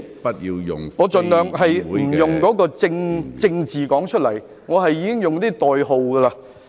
我已經盡量不用正字唸出來，而是用代號。